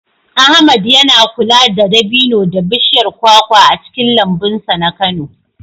Ahmad yana kula da dabino da bishiyar kwakwa a cikin lambun sa na Kano.